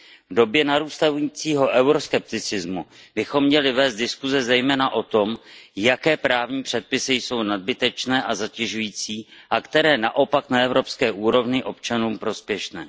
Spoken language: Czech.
V době narůstajícího euroskepticismu bychom měli vést diskuse zejména o tom, jaké právní předpisy jsou nadbytečné a zatěžující a které naopak na evropské úrovni občanům prospěšné.